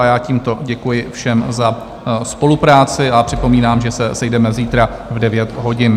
A já tímto děkuji všem za spolupráci a připomínám, že se sejdeme zítra v 9 hodin.